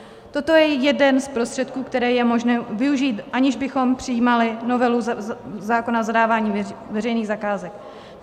Toto je jeden z prostředků, které je možné využít, aniž bychom přijímali novelu zákona o zadávání veřejných zakázek.